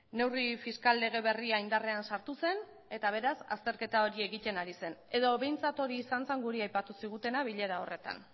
neurri fiskal lege berria indarrean sartu zen eta beraz azterketa hori egiten ari zen edo behintzat hori izan zen guri aipatu zigutena bilera horretan